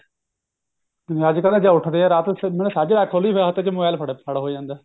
ਜਿਵੇਂ ਅੱਜਕਲ ਜੇ ਉੱਠਦੇ ਆ ਰਾਤ ਨੂੰ ਮਤਲਬ ਸਾਜਰੇ ਅੱਖ ਖੁਲਦੀ ਫੇਰ ਹੱਥ ਵਿੱਚ mobile ਫੜ੍ਹ ਹੋ ਜਾਂਦਾ